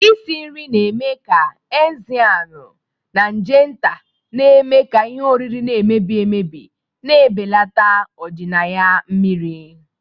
Isi nri na-eme ka enizamu na nje nta na-eme ka ihe oriri na-emebi emebi, na-ebelata ọdịnaya mmiri.